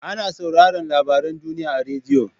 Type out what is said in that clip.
Ana sauraran labaran duniya a radiyo.